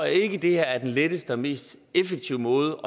ikke at det her er den letteste og mest effektive måde